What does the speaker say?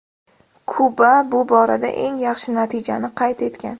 Kuba bu borada eng yaxshi natijani qayd etgan.